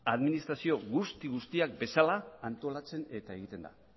administrazio guztiak bezala antolatzen eta egiten da